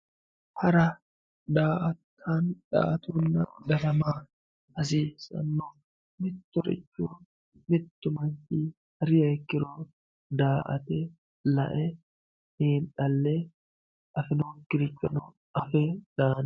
Hara, daa"attonna darama, hasiisano mitu manchi hariha ikkiro daa"ate lae xiinxale afinokkirichono lae daano.